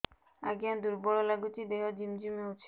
ଆଜ୍ଞା ଦୁର୍ବଳ ଲାଗୁଚି ଦେହ ଝିମଝିମ ହଉଛି